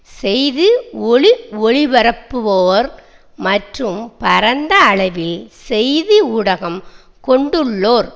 செய்தி ஒலிஒளி பரப்புவோர் மற்றும் பரந்த அளவில் செய்தி ஊடகம் கொண்டுள்ளோர்